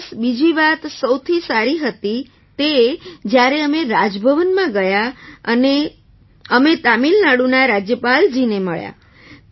plus બીજી વાત સૌથી સારી હતી તે જ્યારે અમે રાજભવન ગયાં અને અમે તમિલનાડુના રાજ્યપાલજીને મળ્યાં